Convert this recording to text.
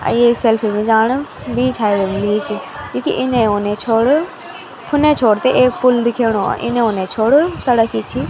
अ यें सेल्फी मिल जाण बीच हाईवे मा लीं च क्युकी इने उने छोड़ फुने छोड़ ते एक पुल दिखेणु इने उने छोड़ सड़क ही छी।